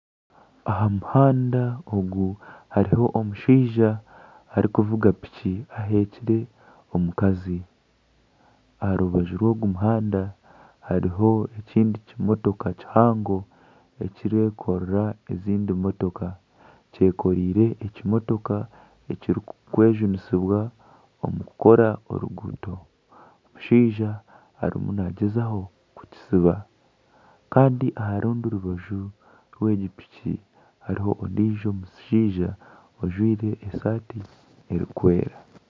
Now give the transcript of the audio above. Aha muhanda ogu hariho omushaija arikuvuga piki ehekire omukazi, aha rubaju rw'ogu muhanda hariho ekindi kimotoka kihango, ekirikwekorera ezindi mutooka, kyekoreire ekimotoka ekirikwejunisibwa omu kukora oruguuto, omushaija arimu naagyezaho kukitsiba kandi aha rundi rubaju rw'egi piki hariho ondiijo mushaija ojwire esaati erikwera